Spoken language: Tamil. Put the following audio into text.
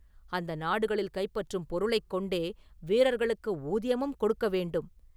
அந்த நாடுகளில் கைப்பற்றும் பொருளைக் கொண்டே வீரர்களுக்கு ஊதியமும் கொடுக்க வேண்டும்.